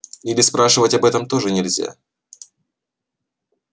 или спрашивать об этом тоже нельзя